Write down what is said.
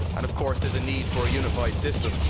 Of course there is a need for a unified system.